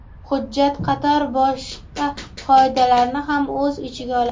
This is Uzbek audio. Hujjat qator boshqa qoidalarni ham o‘z ichiga oladi.